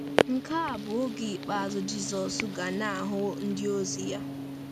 Nke a bụ oge ikpeazụ Jizọs ga na-ahụ ndịozi ya.